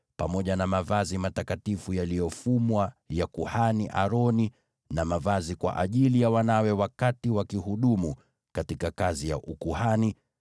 pamoja na mavazi matakatifu yaliyofumwa ya kuhani Aroni, na mavazi kwa ajili ya wanawe wakati wanahudumu katika kazi ya ukuhani,